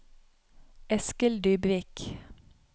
Eskil Dybvik